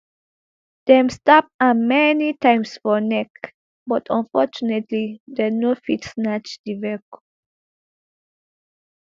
dem stab am many times for neck but unfortunately dem no fit snatch the vehicle